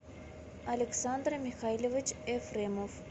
александр михайлович ефремов